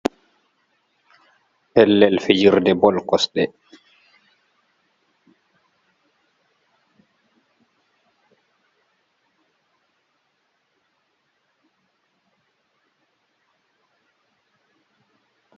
Pellel l fijrde bol kosɗe.